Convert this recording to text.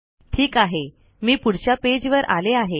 ठीक आहे मी पुढच्या पेज वर आले आहे